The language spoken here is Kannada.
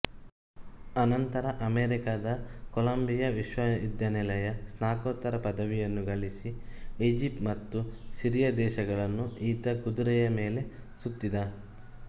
ಅನಂತರ ಅಮೆರಿಕದ ಕೊಲಂಬಿಯ ವಿಶ್ವವಿದ್ಯಾಲಯದ ಸ್ನಾತಕೋತ್ತರ ಪದವಿಯನ್ನು ಗಳಿಸಿ ಈಜಿಪ್ಟ್ ಮತ್ತು ಸಿರಿಯ ದೇಶಗಳನ್ನು ಈತ ಕುದುರೆಯ ಮೇಲೆ ಸುತ್ತಿದ